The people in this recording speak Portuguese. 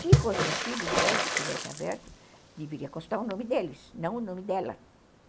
Se fossem os filhos dela que tivessem aberto, deveria constar o nome deles, não o nome dela.